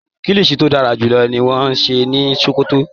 Kilishi to darajulọ ni wọn n ṣe ni Sókótó.